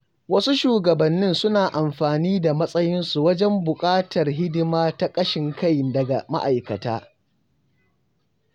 Wasu shugabannin suna amfani da matsayinsu wajen buƙatar hidima ta ƙashin kai daga ma’aikata.